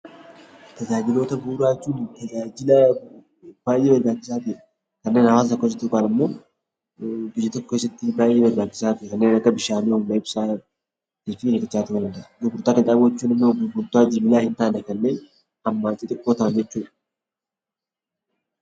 Tajaajiloota bu'uuraa jechuun tajaajila baay'ee barbaachisaa ta'edha. Dhalli namaa wantoota baay'ee barbaachisoo kanneen akka ibsaa, fa'aati. Gurgurtaa qinxaanboo jechuun immoo gurgurtaa wantoota hammaan xixiqqoo ta'anii jechuudha